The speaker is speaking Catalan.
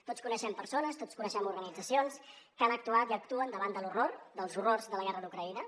tots coneixem persones tots coneixem organitzacions que han actuat i actuen davant de l’horror dels horrors de la guerra d’ucraïna